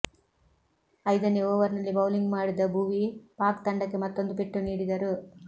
ಐದನೇ ಓವರ್ನಲ್ಲಿ ಬೌಲಿಂಗ್ ಮಾಡಿದ ಭುವಿ ಪಾಕ್ ತಂಡಕ್ಕೆ ಮತ್ತೊಂದು ಪೆಟ್ಟು ನೀಡಿದರು